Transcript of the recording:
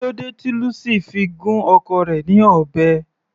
Kílódé tí Lucy fi gún ọkọ rẹ̀ ní ọ̀bẹ.